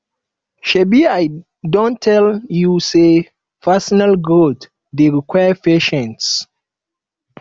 shebi i don tell you sey personal growth dey require patience